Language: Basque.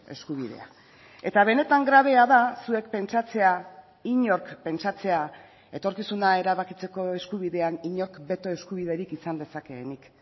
eskubidea eta benetan grabea da zuek pentsatzea inork pentsatzea etorkizuna erabakitzeko eskubidean inork beto eskubiderik izan dezakeenik